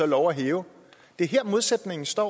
lov at hæve det er her modsætningen står